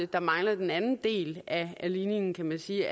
der mangler den anden del af ligningen kan man sige